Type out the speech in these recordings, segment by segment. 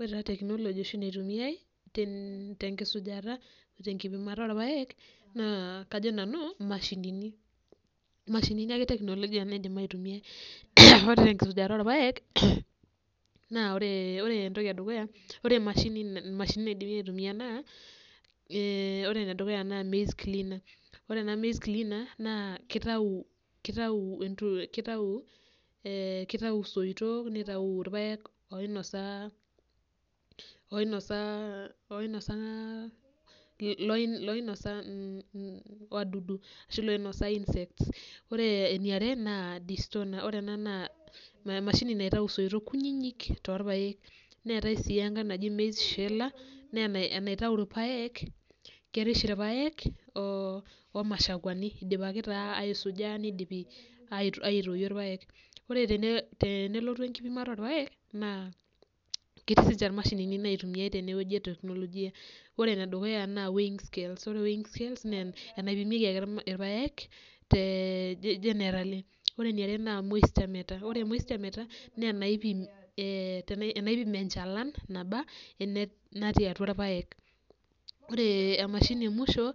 Ore taa teknoloji oshi naitumiai ten tenkisujata o tenkipimata orpaek naa kajo nanu mashinini, mashinini ake teknolojia naidim aitumia. Ore te nkisujata orpaek, naa ore ore entoki e dukuya ore emashini mashinini naidimi aitumia naa ee ore ene dukuya naa maize cleaner, ore ena maize cleaner naa kitau kitau entu kitau soitok nitau irpaek oinosaa oinosaa oinosaa loino loino loinosa mm wadudu ashu loinosa insect. Ore eniare naa distoner ore ena naa emashini naitau isoitok kunyinyik toorpaek, neetai sii enkae naji maize sheller naa ena enaitau irpaek kerish irpaek oo omashakuani idipaki taa aisuja nidipi ai aitoyio irpaek. Ore tene tenelotu enkipimata orpaek naa ketii siinje irmashinini naitumiai tene wueji e teknolojia. Ore ene dukuya naa weighing scale, ore weighing scale naa enaipimieki ake irpaek tee generally. Ore eniare naa moisture meter, ore moisture meter naa enaipim ee tena enaipim enchalan naba ene natii atua irpaek, ore emashini e musho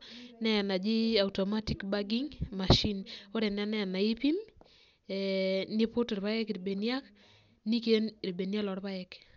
naaenaji 9 automatic bagging machine, ore ena naa enaipim ee niput irpaek irbeniak niiken irbeniak lorpaaek.